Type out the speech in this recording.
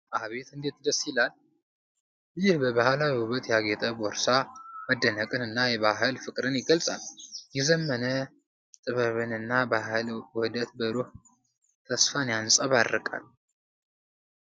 አቤት እንዴት ደስ ይላል! ይህ በባህላዊ ውበት ያጌጠ ቦርሳ መደነቅን እና የባህል ፍቅርን ይገልጻል። የዘመነ ጥበብና ባህል ውህደት ብሩህ ተስፋን ያንጸባርቃል።